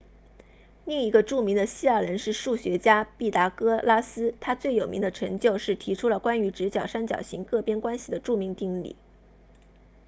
另一个著名的希腊人是数学家毕达哥拉斯他最有名的成就是提出了关于直角三角形各边关系的著名定理